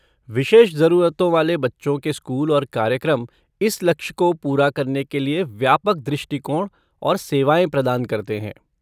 विशेष ज़रूरतों वाले बच्चों के स्कूल और कार्यक्रम इस लक्ष्य को पूरा करने के लिए व्यापक दृष्टिकोण और सेवाएँ प्रदान करते हैं।